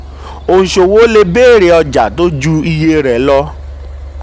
20. oníṣòwò le béèrè ọjà tó ju iye rẹ̀ lọ.